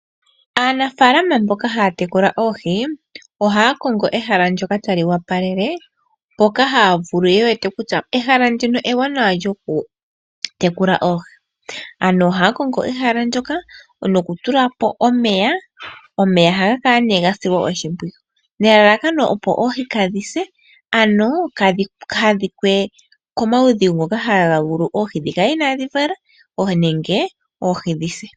Aanafaalama mboka haya tekula oohi ohaya kongo ehala ndyoka tali opalele, mpoka ye wete kutya ehala ndika ewanawa nokutekula oohi. Ohaya kongo ehala ndyoka nokutulapo omeya, omeya ohaga kala gasilwa oshimpwiyu nelalakano opo oohi kaadhi se, kaadhi adhike komaudhigu ngono haga etele oohi dhikale kale inaadhi vala nenge dhise.